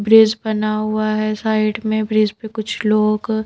bridge बना हुआ है साइड में ब्रिज पे कुछ लोग --